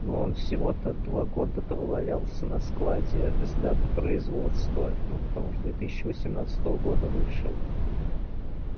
он всего то два года провалялся на складе с даты производства ну потому что две тысячи восемнадцатого года вышел